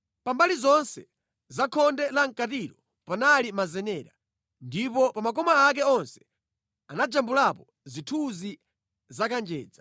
Pa mbali zonse za khonde lamʼkatilo panali mazenera, ndipo pa makoma ake onse anajambulapo zithunzi za kanjedza.